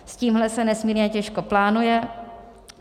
S tímhle se nesmírně těžko plánuje.